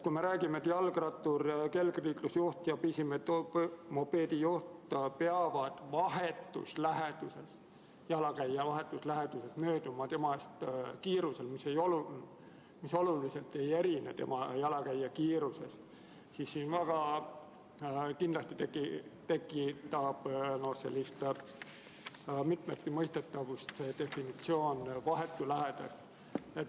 Kui me räägime, et jalgrattur, kergliikurijuht ja pisimopeedijuht peavad jalakäija vahetus läheduses mööduma temast kiirusel, mis oluliselt ei erineks jalakäija kiirusest, siis kindlasti tekitab mitmeti mõistetavust vahetu läheduse definitsioon.